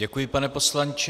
Děkuji, pane poslanče.